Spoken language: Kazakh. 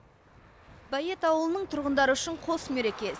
бәйет ауылының тұрғындары үшін қос мереке